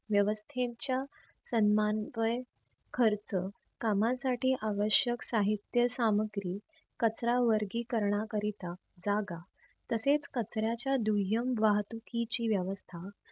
व्यवस्थेच्या संमांतव्ये खर्च कामासाठी आवशक साहित्य सामग्री कचरा वर्गीकरण करीत जागा तसेच कचऱ्याच्या दुह्यम वाहतुकीची व्यवस्था